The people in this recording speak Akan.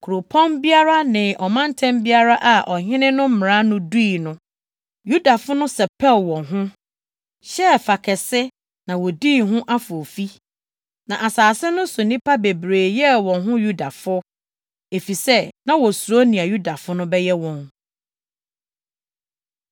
Kuropɔn biara ne ɔmantam biara a ɔhene no mmara no dui no, Yudafo no sɛpɛw wɔn ho, hyɛɛ fa kɛse na wodii ho afoofi. Na asase no so nnipa bebree yɛɛ wɔn ho Yudafo, efisɛ na wosuro nea Yudafo no bɛyɛ wɔn.